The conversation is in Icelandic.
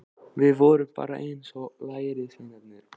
Við vorum bara eins og lærisveinarnir.